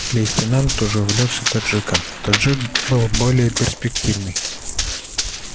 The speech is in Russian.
лейтенант уже увлёкся таджиком таджик был более перспективный